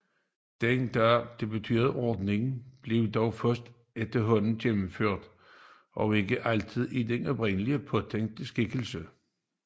Den da bebudede ordning blev dog først efterhånden gennemført og ikke altid i den oprindeligt påtænkte skikkelse